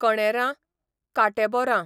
कणेरां, कांटेबोरां